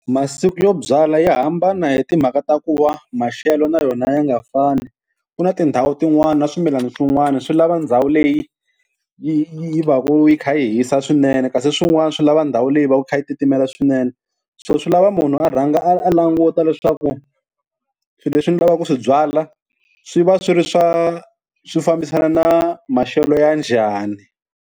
Masiku yo byala ya hambana hi timhaka ta ku va maxelo na yona ya nga fani, ku na tindhawu tin'wani na swimilana swin'wana swi lava ndhawu leyi yi yi va ku yi kha yi hisa swinene kasi swin'wana swi lava ndhawu leyi va ka yi kha yi titimela swinene, so swi lava munhu a rhanga a a languta leswaku swilo leswi ni lavaka ku swi byala swi va swi ri swa swi fambisana na maxelo ya njhani.